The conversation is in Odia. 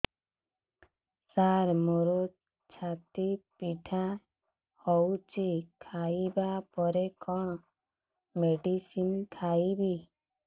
ସାର ମୋର ଛାତି ପୀଡା ହଉଚି ଖାଇବା ପରେ କଣ ମେଡିସିନ ଖାଇବି